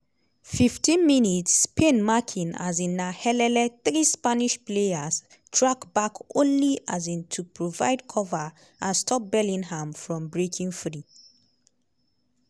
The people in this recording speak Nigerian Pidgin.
15 mins - spain marking um na helele three spanish players track back only um to provide cover and stop bellingham from breaking free.